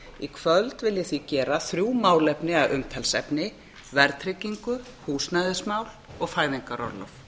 í kvöld vil ég því gera þrjú málefni að umtalsefni verðtryggingu húsnæðismál og fæðingarorlof